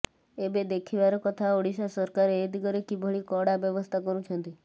ଏବେ ଦେଖିବାର କଥା ଓଡ଼ିଶା ସରକାର ଏ ଦିଗରେ କିଭଳି କଡ଼ା ବ୍ୟବସ୍ଥା କରୁଛନ୍ତି